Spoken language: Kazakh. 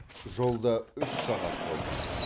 жолда үш сағат болдық